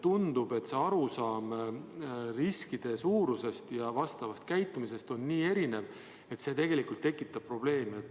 Tundub, et arusaam riskide suurusest ja vastavast käitumisest on nii erinev, et see tekitab probleeme.